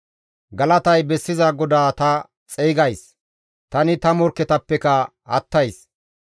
Galatay bessiza GODAA ta xeygays; tani ta morkketappekka attays.